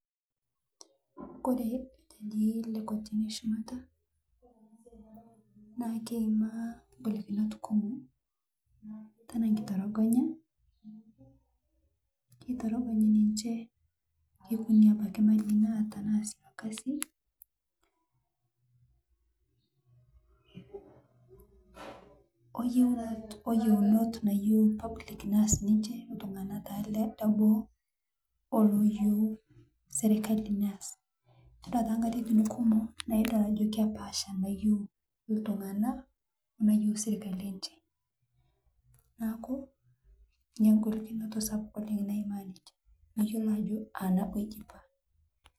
Kore irjajii le kotini ee shumata naa keimaa ngolikinot kumo, tanaa nkitorogonya, keitorogonyi ninje, nekuni abaki mali naata naasie lokasi, oyieunot naayiu (cs public cs)neaas ninje, ltung'ana taa le boo, oo nayiu (cs serekali cs)neaas todua te nkatitin kumuo naa idol ajo kepaasha, nayieu ltung'ana oo nayieu sirkali enje, naaku nyia ngolikinoto nagol naimaa nije meyiolo ajo aa nabo ejipaa.